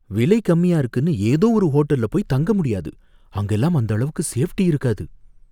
விலை கம்மியா இருக்குனு ஏதோ ஒரு ஹோட்டல்ல போய் தங்க முடியாது, அங்கலாம் அந்த அளவுக்கு சேஃப்டி இருக்காது